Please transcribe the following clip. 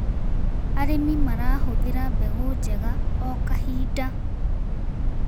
Arĩmi marahũthĩra mbegũ njega o kahinda.